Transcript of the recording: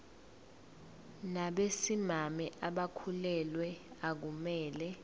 nabesimame abakhulelwe akumele